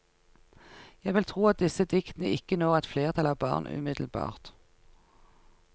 Jeg vil tro at disse diktene ikke når et flertall av barn umiddelbart.